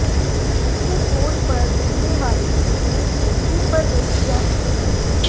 इससे फोन पर दिखने वाली चीजें टीवी पर देखी जा सकती हैं